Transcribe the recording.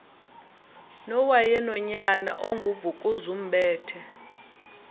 nowayenonyana ongu vukuzumbethe